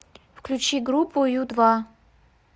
включи группу ю два